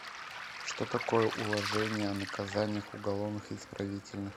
что такое уложение о наказаниях уголовных и исправительных